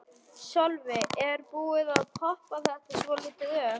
Sölvi: Er búið að poppa þetta svolítið upp?